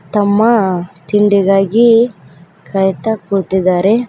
ತಮ್ಮ ತಿಂಡಿಗಾಗಿ ಕಾಯ್ತಾ ಕೂತಿದ್ದಾರೆ.